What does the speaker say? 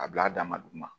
A bila a dama duguma